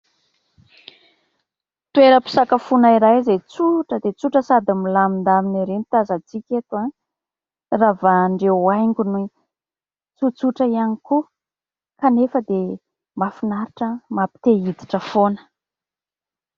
Toera-pisakafoana iray izay tsotra dia tsotra sady milamindamina ery no tazantsika eto, ravahan'ireo haingony tsotsotra ihany koa kanefa dia mahafinaritra mampite hiditra foana.